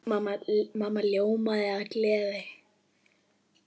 Mamma ljómaði af gleði.